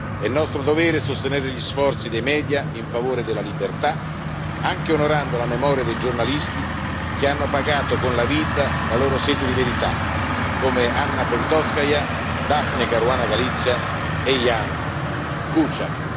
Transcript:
È nostro dovere sostenere gli sforzi dei media in favore della libertà, anche onorando la memoria dei giornalisti che hanno pagato con la vita la loro sete di verità, come Anna Politkovskaja, Daphne Caruana Galizia e Ján Kuciak.